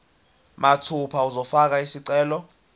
mathupha uzofaka isicelo